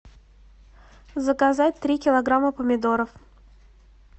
заказать три килограмма помидоров